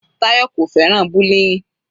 Tayọ kò fẹ́ràn bullying.